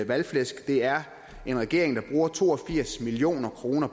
valgflæsk det er en regering der bruger to og firs million kroner